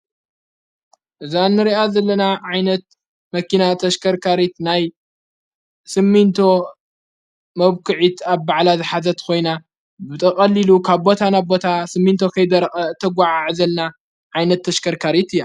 እዛ ንርኣት ዘለና ዓይነት መኪና ተሽከርካሪት ናይ ስሚንቶ መብኲዒት ኣብ ባዕላ ዝኃዘት ኾይና ብጠቐሊሉ ካብ ቦታናቦታ ስሚንቶ ኸይደር ተጐዓዕዘልና ዓይነት ተሽከርካሪት እያ።